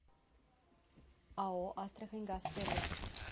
ао астраханьгазсервис